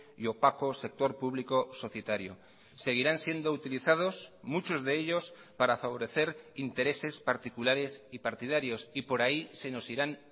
y opaco sector público societario seguirán siendo utilizados muchos de ellos para favorecer intereses particulares y partidarios y por ahí se nos irán